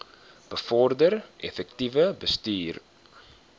bevorder effektiewe bestuur